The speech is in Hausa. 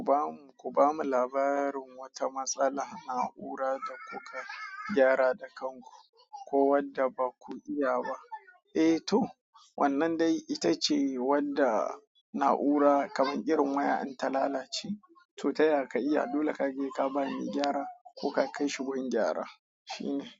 Ku ba mu, ku ba mu labarin wata matsala, na'ura da kuka gyara da kanku ko wadda ba ku iya ba. Eh to, wannan dai ita ce wadda na'ura kamar irin waya in ta lalace to taya ka iya dole kaje ka ba ni gyara ko ka kai shi gur gyara shine.